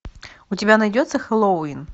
у тебя найдется хэллоуин